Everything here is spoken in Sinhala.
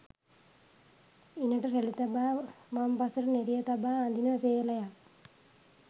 ඉණට රැළි තබා වම්පසට නෙරිය තබා අඳින සේලයක්